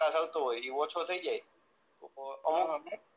એ ઓછો થઈ જાય મહેક